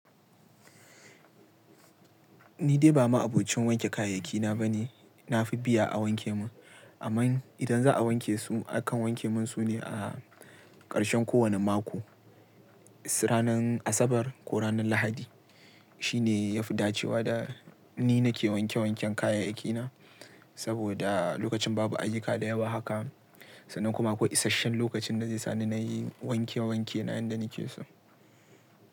Nidai ba ma'abocin wanke kayayyaki na bane. Nafi biya a wanke mun, amma idan za'a wanke su, akan wanke mun sune a ƙarshen kowane mako. Ranar Asabar ko ranar Lahadi shine yafi dacewa da nina ke wanke wanken kayayyaki na. Saboda lokacin babu ayyuka da yawa haka, sannan kuma aƙwai isashen lokacin da zai sani nayi wanke-wanke na yadda nake so.